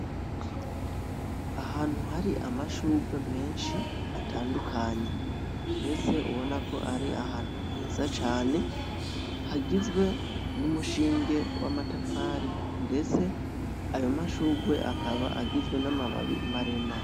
Ahantu hari amashurwe menshi atandukanye ndetse ubona ko ari ahantu heza cane, hagizwe n'umushinge w'amatafari ndetse ayo mahurwe akaba agizwe n'amababi maremare.